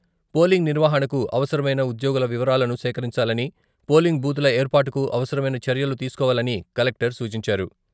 Polling నిర్వహణకు అవసరమైన ఉద్యోగుల వివరాలను సేకరించాలని పోలింగ్ బూతుల ఏర్పాటుకు అవసరమైన చర్యలు తీసుకోవాలని కలెక్టర్ సూచించారు.